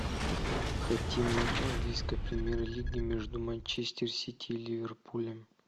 хотим матч английской премьер лиги между манчестер сити и ливерпулем